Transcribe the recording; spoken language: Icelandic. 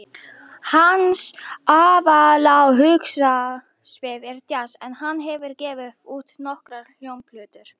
Hans aðaláhugasvið er djass en hann hefur gefið út nokkrar hljómplötur.